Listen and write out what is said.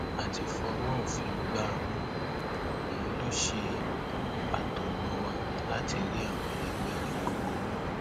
a ti fọwọ òfin gbá a mú òun lọ ṣe atọnà wa láti rí àwọn ẹlẹgbẹ rẹ gbogbo mú